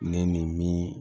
Ne ni min